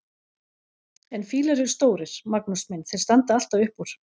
En fílar eru stórir, Magnús minn, þeir standa alltaf upp úr!